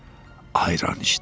ayran içdi.